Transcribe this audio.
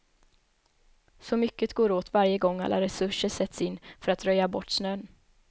Så mycket går åt varje gång alla resurser sätts in för att röja bort snön.